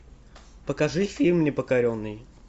покажи фильм непокоренный